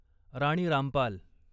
Rani Rampal